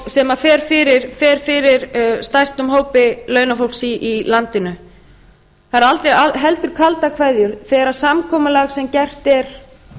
sem fer fyrir stærstum hópi launafólks í landinu það eru heldur kaldar kveðjur þegar samkomulag sem gert er